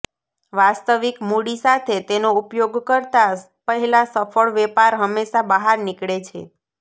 વાસ્તવિક મૂડી સાથે તેનો ઉપયોગ કરતા પહેલાં સફળ વેપાર હંમેશા બહાર નીકળે છે